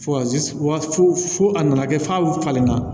Fo ka wa fo a nana kɛ f'a falenna